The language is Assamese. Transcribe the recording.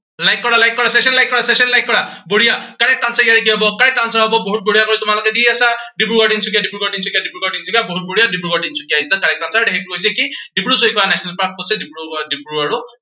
like কৰা like কৰা, session like কৰা session like কৰা। বঢ়িয়া correct answer ইয়াৰে কি হব, correct answer হব বহুত বঢ়িয়াকৈ তোমালোকে দি আছা। ডিব্ৰুগড়, তিনচুকীয়া, ডিব্ৰুগড় তিনচুকীয়া, ডিব্ৰুগড় তিনচুকীয়া। বহুত বঢ়িয়া, Dibrugarh Tinsukia is the correct answer সেইটো হৈছে কি ডিব্ৰু চৈখোৱা national park কত আছে ডিব্ৰুগড় আৰু